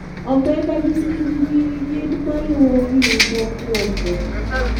Omenda gi tijgi gin maluwogi: mokwongo,